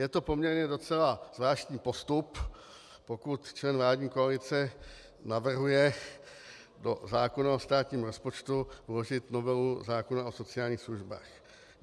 Je to poměrně docela zvláštní postup, pokud člen vládní koalice navrhuje do zákona o státním rozpočtu vložit novelu zákona o sociálních službách.